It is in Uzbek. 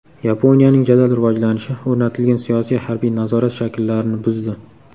Yaponiyaning jadal rivojlanishi o‘rnatilgan siyosiy-harbiy nazorat shakllarini buzdi.